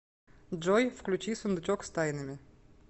джой включи сундучок с тайнами